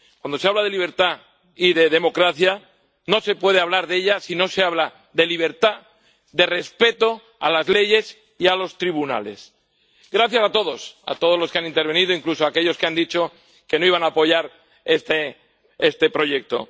Cuando se habla de libertad y de democracia, no se puede hablar de ellas si no se habla de libertad, de respeto a las leyes y a los tribunales. Gracias a todos, a todos los que han intervenido, incluso a aquellos que han dicho que no iban a apoyar este proyecto.